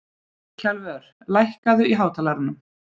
Kjalvör, lækkaðu í hátalaranum.